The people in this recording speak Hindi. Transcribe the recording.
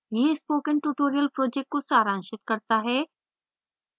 यह spoken tutorial project को सारांशित करता है